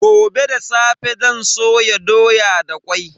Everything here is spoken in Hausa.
Gobe da safe zan soya doya da kwai.